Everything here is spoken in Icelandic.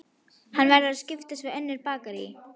Hann verður að skipta við önnur bakarí.